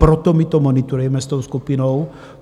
Proto my to monitorujeme s tou skupinou.